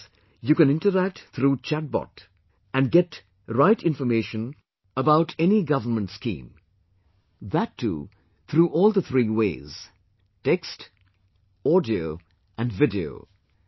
In this you can interact through chat bot and can get right information about any government scheme that too through all the three ways text, audio and video